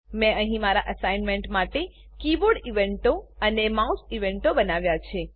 મેં અહીં મારા એસાઈનમેંટ માટે કીબોર્ડ ઇવેન્ટો અને માઉસ ઇવેન્ટો બનાવ્યા છે